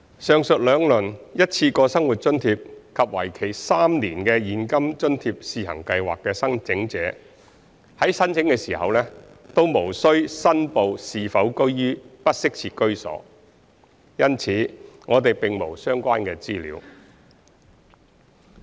上述兩輪一次過生活津貼及為期3年的現金津貼試行計劃的申請者在申請時均無需申報是否居於"不適切"的居所，因此我們並沒有相關的資料。